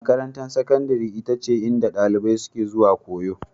Makarantar Sakandare ita ce inda ɗalibai suke zuwa koyo.